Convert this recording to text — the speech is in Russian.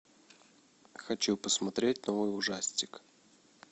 хочу посмотреть новый ужастик